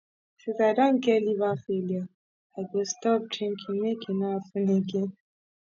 since i don get liver failure i go stop drinking make e no happen again